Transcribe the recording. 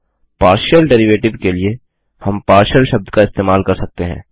अगला partial derivative के लिए हम पार्शियल शब्द का इस्तेमाल कर सकते हैं